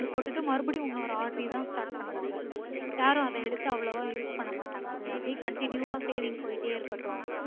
வந்து இங்க போட்டுட்டு மறுபடியும் இன்னொரு RD தா start பண்ணுவாங்க யாரும் அத எடுத்து அவ்ளோவா use பண்ணமாட்டாங்க அது அப்புடியே continue ஆ saving போயிட்டே இருக்கட்டும்